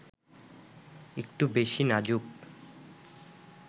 একটু বেশি নাজুক